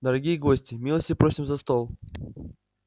дорогие гости милости просим за стол